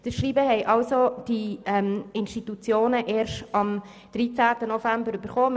» Dieses Schreiben ging den betroffenen Institutionen erst am 13. November zu.